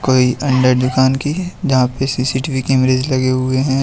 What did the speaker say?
कोई अंदर दुकान के जहां पे सी_सी_टी_वी कैमरे लगे हुए हैं।